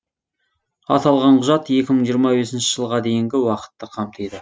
аталған құжат екі мың жиырма бесінші жылға дейінгі уақытты қамтиды